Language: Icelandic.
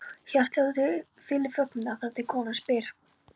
Hjartsláttur fyllir þögnina, þar til konan spyr